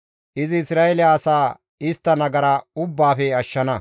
Izi Isra7eele asaa istta nagara ubbaafe ashshana.